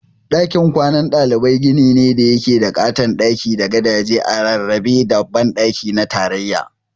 Dakin kwanan ɗalibai gini ne da yake da ƙaton daki da gadaje a rarrabe da banɗaki na tarayya.